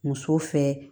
Muso fɛ